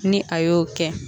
Ni a y'o kɛ.